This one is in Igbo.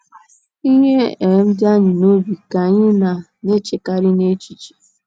Ihe um di anyị n’obi ka anyị na - na - echekarị n’echiche.